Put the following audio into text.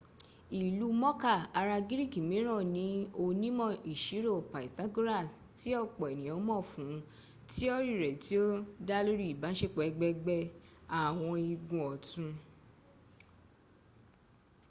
ìlú mọ̀ká ará gíríkì mìíràn ni onímọ̀-ìṣirò pythagoras tí ọ̀pọ̀ ènìyàn mọ̀ fún tíọ́rì rẹ̀ tí o dálórí ìbáṣepọ̀ ẹ̀gbẹ̀gbẹ́ àwọn igun ọ̀tún